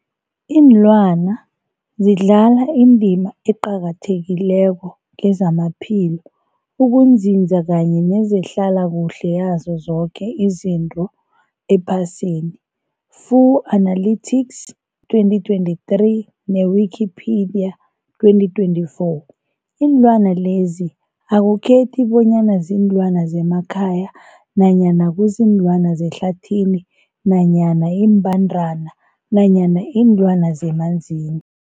Iinlwana zidlala indima eqakathekileko kezamaphilo, ukunzinza kanye nezehlala kuhle yazo zoke izinto ephasini, Fuanalytics 2023, ne-Wikipedia 2024. Iinlwana lezi akukhethi bonyana ziinlwana zemakhaya nanyana kuziinlwana zehlathini nanyana iimbandana nanyana iinlwana zemanzini.